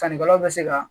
Sannikɛlaw bɛ se ka